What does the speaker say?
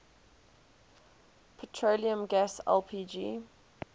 petroleum gas lpg